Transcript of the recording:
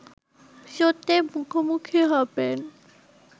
সত্যের মুখোমুখি হবেন